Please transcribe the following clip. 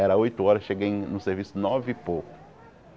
Era oito horas, cheguei no serviço nove e pouco.